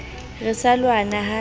re sa lwana ha e